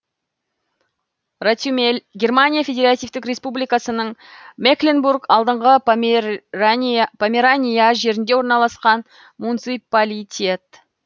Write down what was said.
ротемель германия федеративтік республикасының мекленбург алдыңғы померания жерінде орналасқан муниципалитет